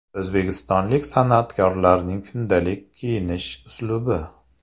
O‘zbekistonlik san’atkorlarning kundalik kiyinish uslubi .